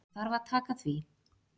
Ég þarf að taka því.